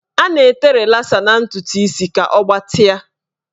A na-ete rịlasa na ntụtụ isi ka ọ gbatịa.